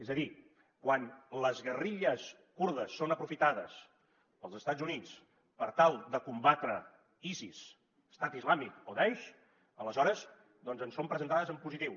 és a dir quan les guerrilles kurdes són aprofitades pels estats units per tal de combatre isis estat islàmic o daeix aleshores doncs ens són presentades en positiu